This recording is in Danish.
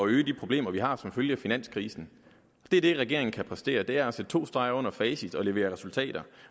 løse de problemer vi har som følge af finanskrisen det er det regeringen kan præstere nemlig at sætte to streger under facit og levere resultater